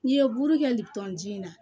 N'i ye buru kɛ lipɔnji in na